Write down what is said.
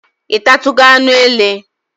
Ị tatugo anụ ele?